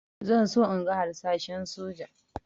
Zan so in ga harsashen soja